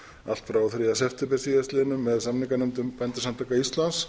allt frá þriðja september síðastliðnum með samninganefndum bændasamtaka íslands